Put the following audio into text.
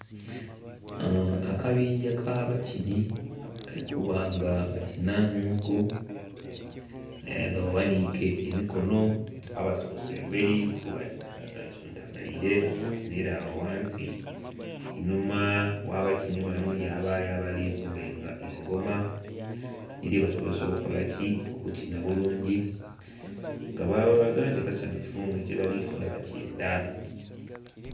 Akabingya ka bakini kali kuba nga bakinamuku nga baghanike emikono, abasose emberi basuntumaire bakinire agho ghansi. Enhuma gha bakini bano yabayo abali kuba engoma edhiri basobozesa okola ki? okukina bulungi nga balaga nti basanhufu nga kyebali kola bakyendha.